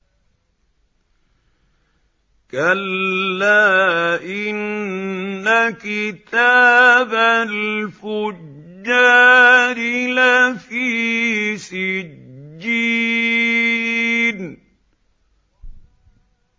كَلَّا إِنَّ كِتَابَ الْفُجَّارِ لَفِي سِجِّينٍ